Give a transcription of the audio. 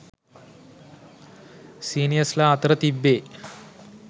සිනියර්සලා අතර තිබ්බේ